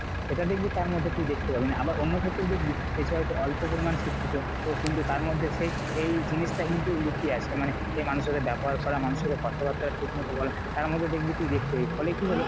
সেটা দেখবি তার মধ্যে তুই দেখতে পাবি না। আবার অন্য ক্ষেত্রে দেখবি বেশ হয়তো অল্প পরিমান শিক্ষিত তো কিন্তু তার মধ্যে সে এই জিনিসটা কিন্তু লুকিয়ে আছে মানে যে মানুষের সাথে ব্যবহার করা মানুষের সাথে কথা বার্তা ঠিক মতো বলা তার মধ্যে দেখবি তুই দেখতে পাবি। ফলে কি হলো